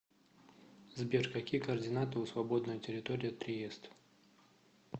сбер какие координаты у свободная территория триест